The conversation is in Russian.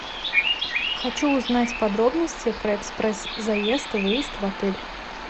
хочу узнать подробности про экспресс заезд и выезд в отель